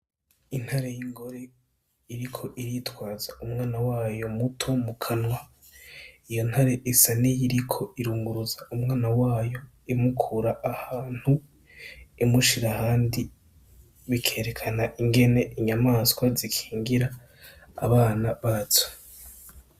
Intare y'ingore iriko iritwaza umwana wayo muto mu kanwa iyo ntare esa ni yoiriko irunguruza umwana wayo imukura ahantu imushira handi bikerekana ingene inyamaswa zikingira abana bato.